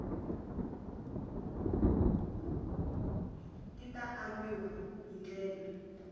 ti ta aviwa hi ndlela